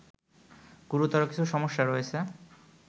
গুরুতর কিছু সমস্যা রয়েছে